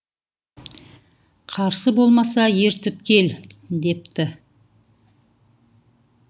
қарсы болмаса ертіп кел депті